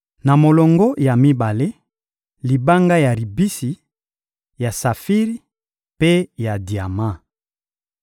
Na molongo ya mibale, libanga ya ribisi, ya safiri mpe ya diama.